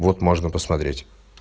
вот можно посмотреть